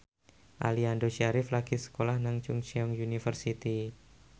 Aliando Syarif lagi sekolah nang Chungceong University